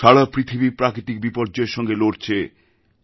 সারা পৃথিবী প্রাকৃতিক বিপর্যয়ের সঙ্গে লড়ছে